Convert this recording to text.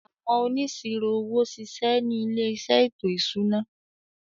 Àwọn Onísirò owó ṣiṣẹ́ ni ilé iṣẹ́ ètò ìṣúná.